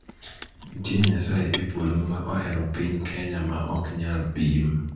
Nitie NYASAYE e polo ma ohero piny Kenya ma ok nyal pim.